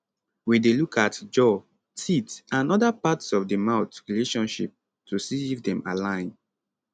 we dey look at jaw teeth and oda parts of di mouth relationship to see if dem align